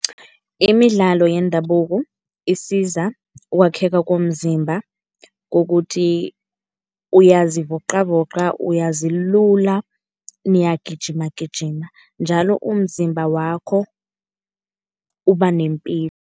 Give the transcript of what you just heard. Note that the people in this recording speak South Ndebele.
Imidlalo yendabuko isiza ukwakheka komzimba, kokuthi uyazivoqavoqa uyazilula. Niyagijima gijima njalo umzimba wakho uba nempilo.